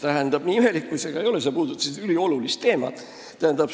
Tähendab, nii imelik kui see ka ei ole, sa puudutasid üliolulist teemat.